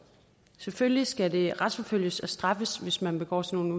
selvfølgelig skal det retsforfølges og straffes hvis man begår sådan